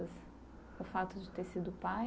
O fato de ter sido pai?